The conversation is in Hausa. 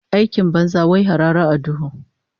Aikin banza, wai harara a duhu